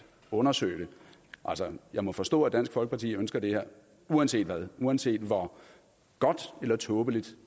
undersøge det jeg må forstå at dansk folkeparti ønsker det her uanset hvad uanset hvor godt eller tåbeligt